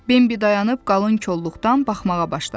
Bembi dayanıb qalın kolluqdan baxmağa başladı.